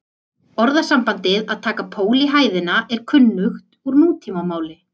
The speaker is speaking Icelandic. Orðasambandið að taka pól í hæðina er kunnugt úr nútímamáli.